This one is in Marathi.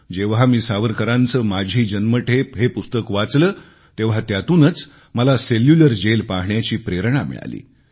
जेव्हा मी सावरकरांचे माझी जन्मठेप हे पुस्तक वाचले तेव्हा त्यातूनच मला सेल्युलर जेल पाहण्याची प्रेरणा मिळाली